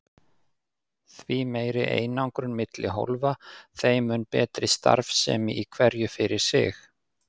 Því meiri einangrun milli hólfa þeim mun betri starfsemi í hverju fyrir sig.